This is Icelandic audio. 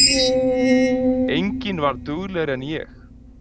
Enginn var duglegri en ég.